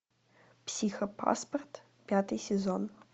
психопаспорт пятый сезон